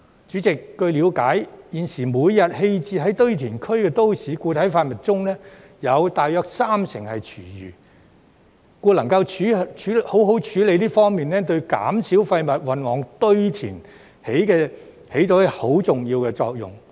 主席，據了解，現時每天棄置於堆填區的都市固體廢物中，有約三成是廚餘，故能夠好好處理這方面，對減少廢物運往堆填起着很重要的作用。